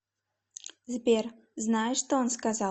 сбер знаешь что он сказал